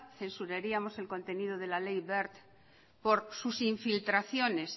censuraríamos el contenido de la ley wert por sus infiltraciones